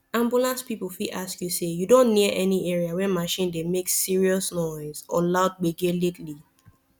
ambulance people fit ask you say you don near any area wey machine dey make serious noise or loud gbege lately